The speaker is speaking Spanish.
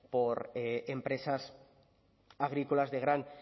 por empresas agrícolas de gran